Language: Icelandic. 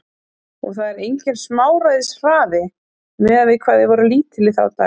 Og það er enginn smáræðis hraði, miðað við hvað þið voruð lítil í þá daga.